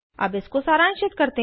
अब इसको सारांशित करते हैं